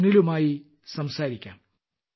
സുനിലുമായി സംസാരിക്കാം